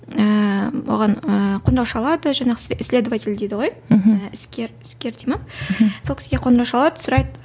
ыыы оған ы қоңырау шалады жаңағы следователь дейді ғой мхм іскер іскер дейді ме мхм сол кісіге қоңырау шалады сұрайды